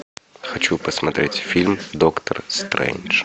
хочу посмотреть фильм доктор стрейндж